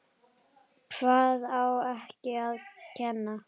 Hvað á ekki að kenna?